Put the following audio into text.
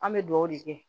An bɛ dugawu de kɛ